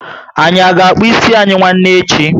Anyị a ga akpu ịsị anyị nwanne echi?